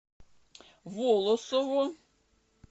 волосово